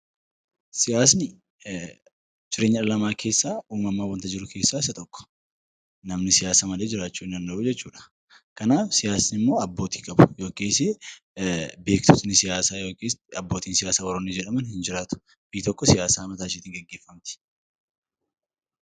Siyaasni jireenya dhala namaa keessaa uumamaan wanta jiru keessaa isa tokko. Namni siyaasa malee jiraachuu hin danda'u jechu dha. Kanaaf siyaasni immoo abbootii qaba yookiis beeksisni siyaasaa yookiin abbootii siyaasaa warroonni jedhaman hin jiraatu. Biyyi tokko siyaasa mataa isheetiin geggeeffamti.